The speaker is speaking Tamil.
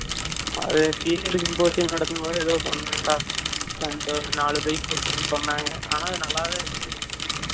அது senior symposiyum நடத்தும் போது ஏதோ பன்னான் டா , stunt ஒரு நாலு bike கொண்டு வந்து பன்னாங்கா ஆனா, அது நல்லா தான் இருந்துச்சு